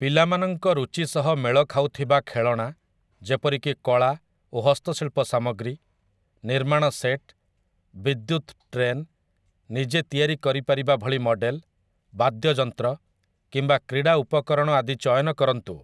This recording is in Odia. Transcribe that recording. ପିଲାମାନଙ୍କ ରୁଚି ସହ ମେଳ ଖାଉଥିବା ଖେଳଣା ଯେପରିକି କଳା ଓ ହସ୍ତଶିଳ୍ପ ସାମଗ୍ରୀ, ନିର୍ମାଣ ସେଟ୍‌, ବିଦ୍ୟୁତ ଟ୍ରେନ୍‌, ନିଜେ ତିଆରି କରିପାରିବା ଭଳି ମଡ଼େଲ୍‌, ବାଦ୍ୟ ଯନ୍ତ୍ର, କିମ୍ବା କ୍ରୀଡ଼ା ଉପକରଣ ଆଦି ଚୟନ କରନ୍ତୁ ।